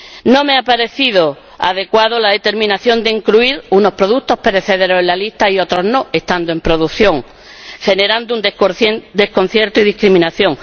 No me ha parecido adecuada la determinación de incluir unos productos perecederos en la lista y otros no, estando en producción, lo que genera desconcierto y discriminación.